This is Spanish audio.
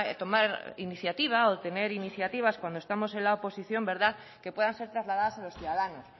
tomar iniciativa o tener iniciativas cuando estamos en la oposición que puedan ser trasladadas a los ciudadanos